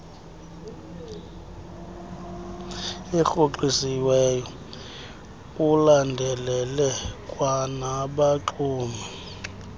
erhoxisiweyo ulandelele kwanabaxumi